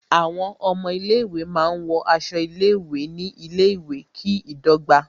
Àwọn ọmọ ilé ìwé máa ń wọ aṣọ ilé ìwé ní ilé ìwé, kí ìdọ́gba